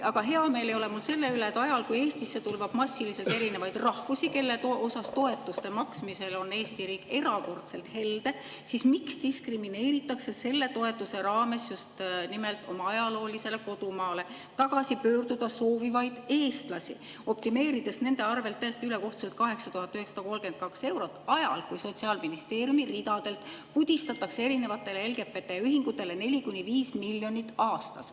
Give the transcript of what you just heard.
Aga hea meel ei ole mul selle üle, et ajal, kui Eestisse tulvab massiliselt erinevatest rahvustest, kellele toetuste maksmisel on Eesti riik erakordselt helde, diskrimineeritakse selle toetuse raames just nimelt oma ajaloolisele kodumaale tagasi pöörduda soovivaid eestlasi, optimeerides nende arvelt täiesti ülekohtuselt 8932 eurot ajal, kui Sotsiaalministeeriumi ridadelt pudistatakse erinevatele LGBT-ühingutele 4–5 miljonit aastas.